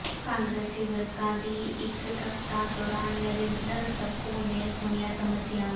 ਕਾਂਗਰਸੀ ਵਰਕਰਾਂ ਦੀ ਇੱਕਤਰਤਾ ਦੌਰਾਨ ਨਰਿੰਦਰ ਸੱਗੂ ਨੇ ਸੁਣੀਆਂ ਸਮੱਸਿਆਵਾਂ